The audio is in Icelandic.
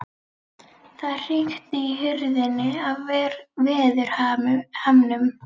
Það hrikti í hurðinni af veðurhamnum.